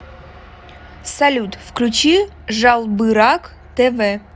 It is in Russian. салют включи жалбырак тэ вэ